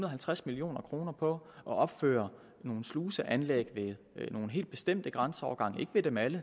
og halvtreds million kroner på at opføre nogle sluseanlæg ved nogle helt bestemte grænseovergange ikke ved dem alle